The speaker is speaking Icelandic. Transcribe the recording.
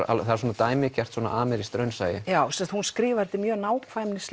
svona dæmigert amerískt raunsæi já sagt skrifar þetta mjög